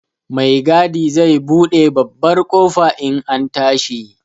Mai gadi zai buɗe babbar ƙofa in an tashi.